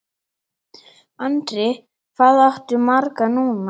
Andri: Hvað áttu marga núna?